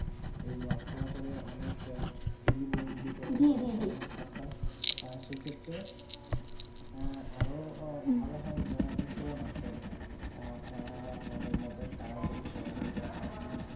যেই ওঠবোঝড়ে অনেক free বই বিতরণ করেছে সরকার সেই ক্ষেত্রে আরও ভালো হয়ে যারা বিদ্যবান আছে এ আপনার আমাদের মতুন তারা জাতি সহজিতা হাত